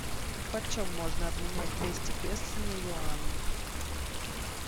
почем можно обменять двести песо на юани